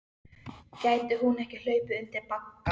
Gæti hún ekki hlaupið undir bagga?